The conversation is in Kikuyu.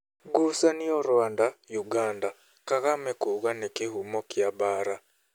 Ngucanio Rwanda, uganda:Kagame kuuga nĩ kĩhumo kĩa mbaara